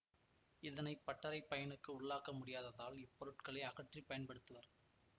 இதனை பட்டறை பயனுக்கு உள்ளாக்க முடியாததால் இப்பொருட்களை அகற்றிப் பயன்படுத்துவர்